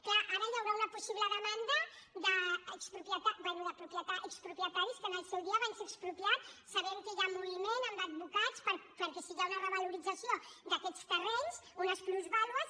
clar ara hi haurà una possible demanda d’expropietaris que en el seu dia van ser expropiats sabem que hi ha moviment amb advocats perquè si hi ha una revalorització d’aquests terrenys unes plusvàlues